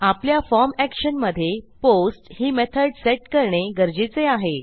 आपल्या form action मधे post ही मेथॉड सेट करणे गरजेचे आहे